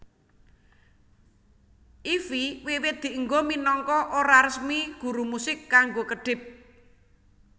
Ify wiwit dienggo minangka ora resmi guru musik kanggo kedhip